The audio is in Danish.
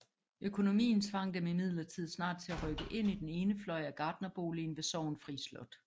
Økonomien tvang dem imidlertid snart til at rykke ind i den ene fløj i gartnerboligen ved Sorgenfri Slot